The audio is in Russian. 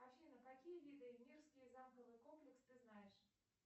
афина какие виды мирский замковый комплекс ты знаешь